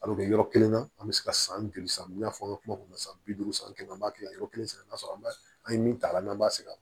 Al'o kɛ yɔrɔ kelen na an be se ka san joli san n y'a fɔ an ka kuma kɔnɔna na san bi duuru san kelen an b'a kɛ yɔrɔ kelen sɛnɛ n'a sɔrɔ an b'a an ye min ta an' b'a sɛnɛ